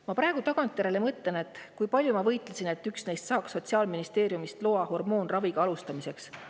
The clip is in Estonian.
"– "Ma praegu tagantjärele mõtlen, kui palju ma võitlesin, et üks neist saaks Sotsiaalministeeriumist loa hormoonraviga alustamiseks.